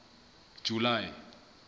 july